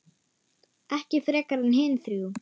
Ekki frekar en hin þrjú.